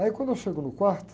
Aí quando eu chego no quarto,